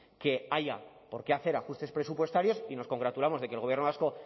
que haya por qué hacer ajustes presupuestarios y nos congratulamos de que el gobierno vasco